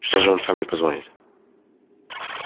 что же он сам не позвонит